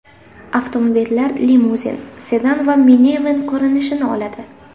Avtomobillar limuzin, sedan va miniven ko‘rinishini oladi.